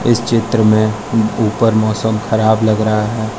इस चित्र में ऊपर मौसम खराब लग रहा है।